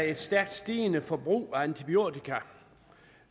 et stærkt stigende forbrug